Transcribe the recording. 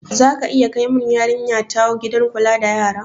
Zaka iya kai mun yarinya ta gidan kula da yara?